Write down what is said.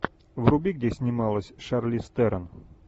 вруби где снималась шарлиз терон